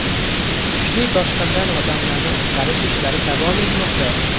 Kuchli toshqindan odamlarni qutqarish ishlari davom etmoqda.